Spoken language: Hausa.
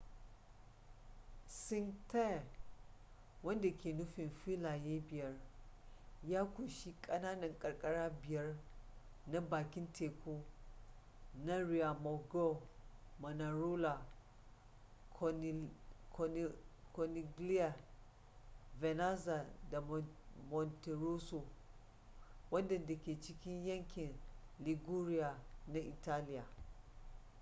cinque terre wanda ke nufin filaye biyar ya ƙunshi ƙananan karkara biyar na bakin teku na riomaggiore manarola corniglia vernazza da monterosso waɗanda ke cikin yankin liguria na italiya